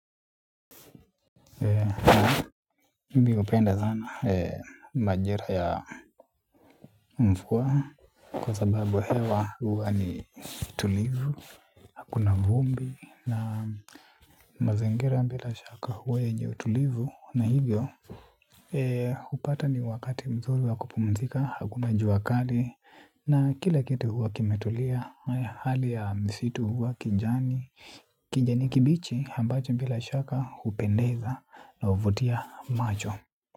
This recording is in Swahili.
Mimi hupenda sana majira ya mvua kwa sababu hewa huwa ni tulivu. Kuna vumbi na mazingira bila shaka huwa yenye utulivu na hivyo. Hupata ni wakati mzuri wa kupumzika, hakuna jua kali na kila kitu huwa kimetulia. Hali ya msitu huwa kijani, kijani kibichi ambacho bila shaka hupendeza na huvutia macho.